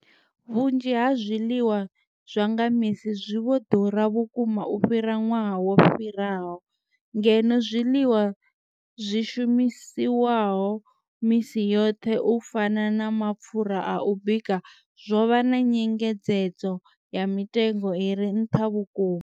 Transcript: Vhunzhi ha zwiḽiwa zwa nga misi zwi vho ḓura vhukuma u fhira ṅwaha wo fhiraho, ngeno zwiḽiwa zwi shumiswaho misi yoṱhe u fana na mapfhura a u bika zwo vha na nyengedzedzo ya mitengo i re nṱha vhukuma.